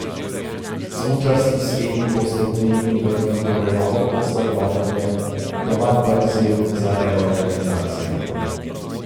Smučarski srenji boste v tujini vrgli torej novo kost za glodanje, doma pa izziv za reorganizacijo.